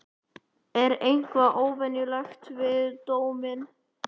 Er eitthvað óvenjulegt við dóminn?